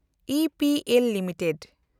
EPL limited